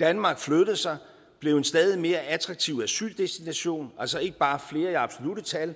danmark flyttede sig blev en stadig mere attraktiv asyldestination altså ikke bare flere i absolutte tal